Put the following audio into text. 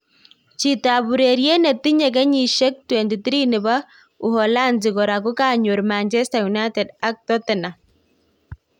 chitoap ureret netinye kenyisheng 23nepo uholanzi kora kokakoyor Manchester United ak totherum